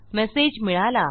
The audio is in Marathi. मेसेज मिळाला